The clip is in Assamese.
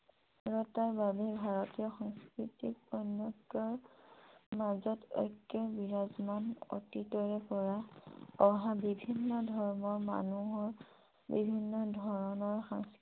বাবে ভাৰতীয় সংস্কৃতিক অনৈক্য়ৰ মাজত ঐক্য় বিৰাজমান অতীতৰে পৰা অহা বিভিন্ন ধৰ্মৰ মানুহৰ বিভিন্ন ধৰণৰ